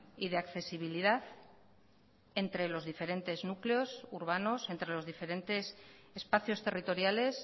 y de accesibilidad entre los diferentes núcleos urbanos entre los diferentes espacios territoriales